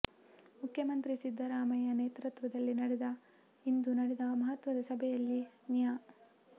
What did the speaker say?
ಮುಖ್ಯಮಂತ್ರಿ ಸಿದ್ದರಾಮಯ್ಯ ನೇತೃತ್ವದಲ್ಲಿ ನಡೆದ ಇಂದು ನಡೆದ ಮಹತ್ವದ ಸಭೆಯಲ್ಲಿ ನ್ಯಾ